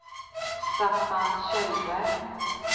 Staffan Kjellberg